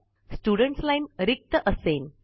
student line रिक्त असेन